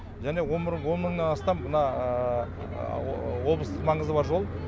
және он мыңнан астам мына облыстық маңызы бар жол